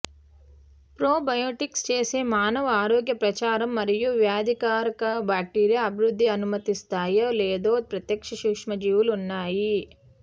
probiotics చేసే మానవ ఆరోగ్య ప్రచారం మరియు వ్యాధికారక బాక్టీరియా అభివృద్ధి అనుమతిస్తాయి లేదు ప్రత్యక్ష సూక్ష్మజీవులు ఉన్నాయి